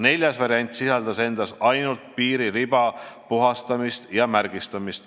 Neljas variant sisaldas endas ainult piiririba puhastamist ja märgistamist.